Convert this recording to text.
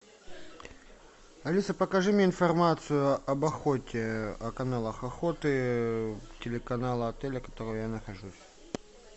алиса покажи мне информацию об охоте о каналах охоты телеканала отеля в котором я нахожусь